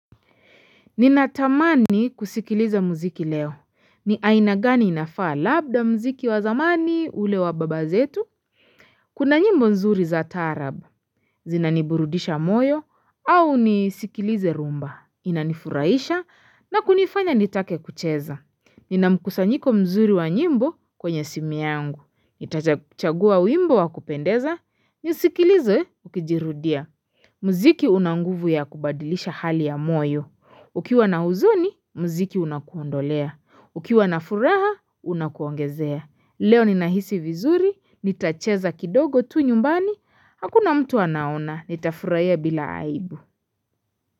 Ninatamani kusikiliza muziki leo. Ni aina gani inafaa labda muziki wa zamani ule wa baba zetu. Kuna nyimbo nzuri za taarab. Zinaniburudisha moyo au nisikilize rhumba. Inanifuraisha na kunifanya nitake kucheza. Ninamkusanyiko mzuri wa nyimbo kwenye simu yangu. Itachagua wimbo wa kupendeza. Nisikilize ukijirudia. Muziki una nguvu ya kubadilisha hali ya moyo. Ukiwa na huzuni, muziki unakuondolea. Ukiwa na furaha, unakuongezea. Leo ninahisi vizuri, nitacheza kidogo tu nyumbani, hakuna mtu anaona, nitafurahia bila aibu.